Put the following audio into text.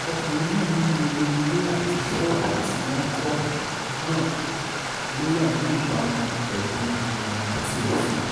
ọkùnrin náà ní gbogbo ilé àti ṣọ́ọ̀bù tí wọ́n kọ́ náà ló wà ní ìbámu pẹ̀lú ìlànà àti òfin